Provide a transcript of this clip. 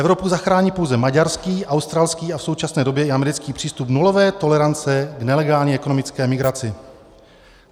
Evropu zachrání pouze maďarský, australský a v současné době i americký přístup nulové tolerance k nelegální ekonomické migraci.